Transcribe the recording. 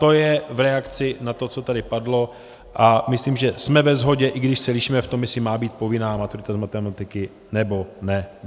To je v reakci na to, co tady padlo, a myslím, že jsme ve shodě, i když se lišíme v tom, jestli má být povinná maturita z matematiky, nebo ne.